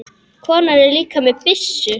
Konan er líka með byssu.